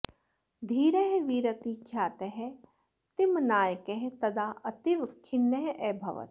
धीरः वीरति ख्यातः तिम्मनायकः तदा अतीव खिन्नः अभवत्